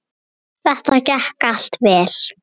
Þetta gekk allt vel.